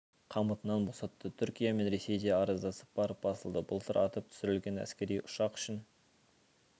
қамытынан босатты түркия мен ресей де араздасып барып басылды былтыр атып түсірілген әскери ұшақ үшін